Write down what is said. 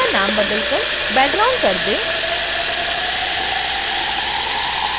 layer का नाम बदलकर background कर दें